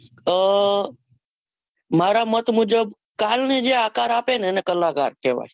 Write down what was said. મારા મત મુજબ તાલને જે આકાર આપેને એને કલાકાર કહવાય